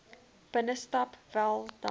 binnestap wel dan